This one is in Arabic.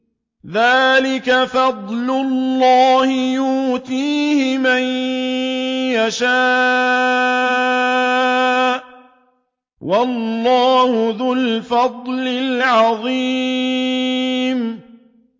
ذَٰلِكَ فَضْلُ اللَّهِ يُؤْتِيهِ مَن يَشَاءُ ۚ وَاللَّهُ ذُو الْفَضْلِ الْعَظِيمِ